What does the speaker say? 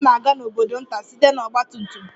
Mama m na-aga n'obodo nta site na ọgba tum tum